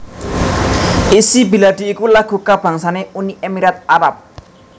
Ishy Bilady iku lagu kabangsané Uni Emirat Arab